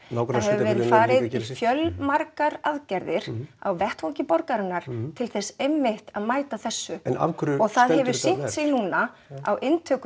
við höfum farið í fjölmargar aðgerðir á vettvangi borgarinnar til þess einmitt að mæta þessu en afhverju og það hefur sýnt sig núna á